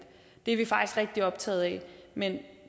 det er vi faktisk rigtig optaget af men